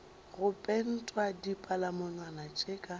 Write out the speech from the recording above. go pentwa dipalamonwana ke tša